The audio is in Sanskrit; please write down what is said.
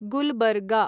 गुलबर्गा